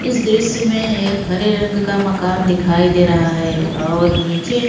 इस दृश्य में एक हरे रंग का मकान दिखायी दे रहा है और नीचे --